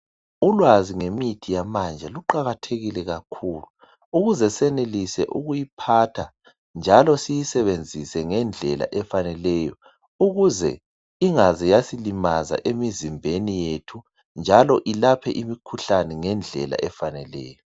Ulwazi ngemithi yamanje luqakathekile kakhulu ukuze senelise ukuyiphatha njalo siyisebenzise ngendlela efaneleyo ukuze ingaze yasilimaza emizimbeni yethu njalo ilaphe imikhuhlane ngendlela efaneleyo.